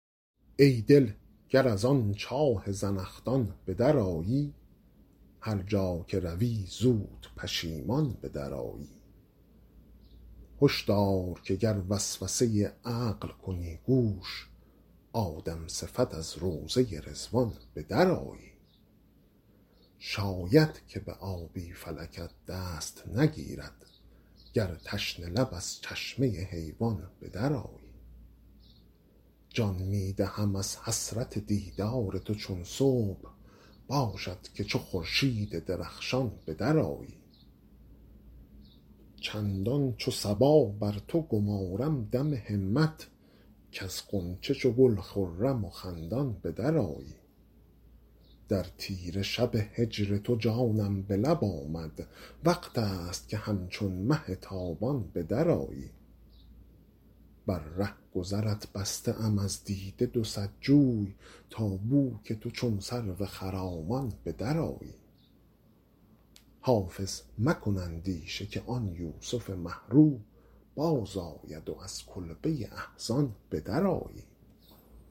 ای دل گر از آن چاه زنخدان به درآیی هر جا که روی زود پشیمان به درآیی هش دار که گر وسوسه عقل کنی گوش آدم صفت از روضه رضوان به درآیی شاید که به آبی فلکت دست نگیرد گر تشنه لب از چشمه حیوان به درآیی جان می دهم از حسرت دیدار تو چون صبح باشد که چو خورشید درخشان به درآیی چندان چو صبا بر تو گمارم دم همت کز غنچه چو گل خرم و خندان به درآیی در تیره شب هجر تو جانم به لب آمد وقت است که همچون مه تابان به درآیی بر رهگذرت بسته ام از دیده دو صد جوی تا بو که تو چون سرو خرامان به درآیی حافظ مکن اندیشه که آن یوسف مه رو بازآید و از کلبه احزان به درآیی